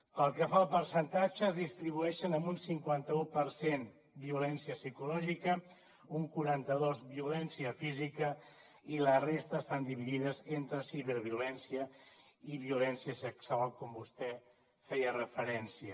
pel que fa al percentatge es distribueixen en un cinquanta un per cent violència psicològica un quaranta dos violència física i la resta estan dividides entre ciberviolència i violència sexual com vostè hi feia referència